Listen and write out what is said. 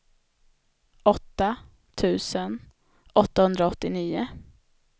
åtta tusen åttahundraåttionio